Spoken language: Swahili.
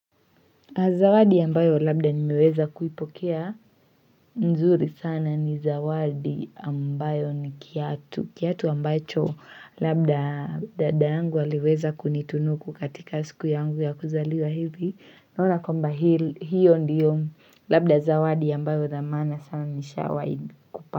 Zawadi ambayo labda nimiweza kuipokea nzuri sana ni zawadi ambayo ni kiatu. Kiatu ambacho labda dadangu aliweza kunitunu katika siku yangu ya kuzaliwa hivi. Naona kwamba hili hiyo ndiyo labda zawadi ambayo dhamana sana nishawai kupa.